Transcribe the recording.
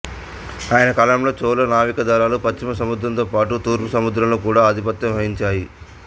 ఆయన కాలంలో చోళ నావికాదళాలు పశ్చిమ సముద్రంతో పాటు తూర్పు సముద్రంలో కూడా ఆధిపత్యం వహించాయి